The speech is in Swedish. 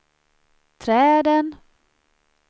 träden